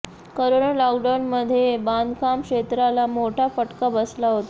corona लॉकडाऊनमध्ये बांधकाम क्षेत्राला मोठा फटका बसला होता